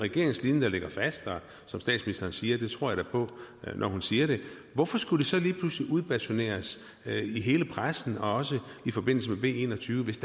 regeringens linje der ligger fast som statsministeren siger og det tror jeg da på når hun siger det hvorfor skulle det så lige pludselig udbasuneres i hele pressen og også i forbindelse med b en og tyve hvis